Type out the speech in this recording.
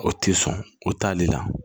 O tɛ sɔn o t'ale la